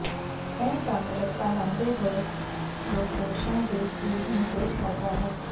ਇਹ ਤੰਗ ਰਸਤਾ ਲੰਘਦੇ ਹੋਏ ਫਲੋਫੋਸ਼ਾਂ ਦੇ ਭੂਤ ਨੂੰ ਪੇਸ਼ ਕਰਦਾ ਹੈ